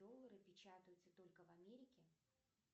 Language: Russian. доллары печатаются только в америке